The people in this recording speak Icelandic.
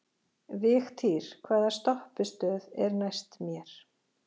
Vigtýr, hvaða stoppistöð er næst mér?